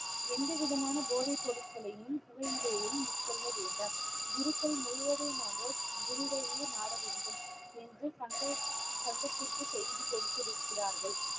எந்த விதமான போதைப் பொருட்களையும், புகையிலையையும் உட்கொள்ள வேண்டாம் குருக்கள் முழுவதுமாக குருவையே நாட வேண்டும் என்று சங்க~ சங்கத்திற்கு செய்தி கொடுத்திருக்கிறார்கள்